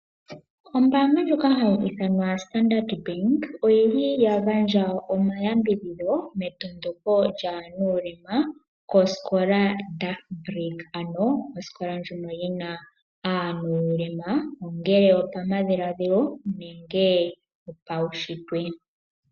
Ombaanga ndjoka ha yi ithanwa Standard Bank oyi li ya gandja omayambidhidho metondoko lyaanuulema kosikola Dagbreek, ano osikola ndjono yina aanuulema ongele opamadhiladhilo nenge opaushitwe.